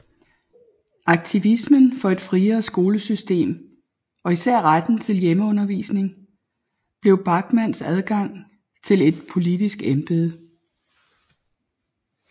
Aktivismen for et friere skolesystem og især retten til hjemmeundervisning blev Bachmanns adgang til et politisk embede